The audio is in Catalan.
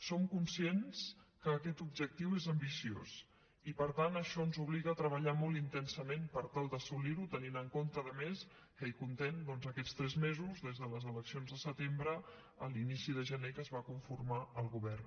som conscients que aquest objectiu és ambiciós i per tant això ens obliga a treballar molt intensament per tal d’assolir ho tenint en compte a més que hi comptem doncs aquests tres mesos des de les eleccions de setembre a l’inici de gener que es va conformar el govern